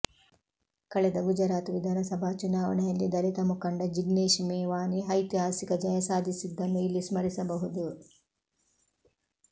ಕಳೆದ ಗುಜರಾತ್ ವಿಧಾನಸಭಾ ಚುನಾವಣೆಯಲ್ಲಿ ದಲಿತ ಮುಖಂಡ ಜಿಗ್ನೇಶ್ ಮೇವಾನಿ ಐತಿಹಾಸಿಕ ಜಯ ಸಾಧಿಸಿದ್ದನ್ನು ಇಲ್ಲಿ ಸ್ಮರಿಸಬಹುದು